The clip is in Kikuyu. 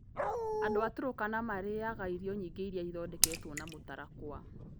Andũ a Turkana marĩĩaga irio nyingĩ iria ithondeketwo na mũtarakwa.